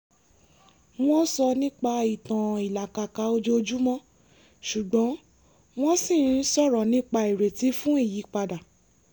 wọ́n sọ nípa ìtàn ìlàkàkà ojoojúmọ́ ṣùgbọ́n wọ́n ṣì ń sọ̀rọ̀ nípa ìrètí fún ìyípadà